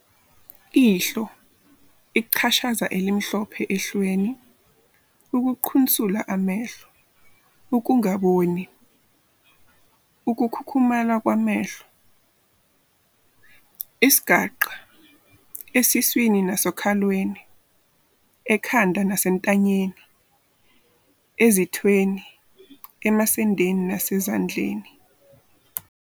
Ihlo- Ichashaza elimhlophe ehlweni, ukuqhunsula amehlo, ukungaboni, ukukhukhumala kwamehlo. Isigaxa- Esiswini nasokhalweni, ekhanda nasentanyeni, ezithweni, emasendeni nasezindlaleni.